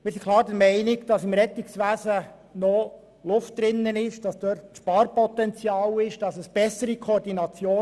Wir sind klar der Meinung, dass es beim Rettungswesen noch Luft hat, und dass die Koordination verbessert werden kann.